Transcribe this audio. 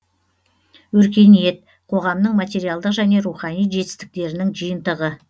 өркениет қоғамның материалдық және рухани жетістіктерінің жиынтығы